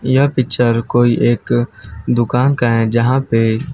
यह पिक्चर कोई एक दुकान का है जहां पे--